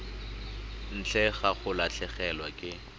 ntle ga go latlhegelwa ke